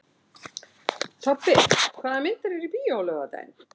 Tobbi, hvaða myndir eru í bíó á laugardaginn?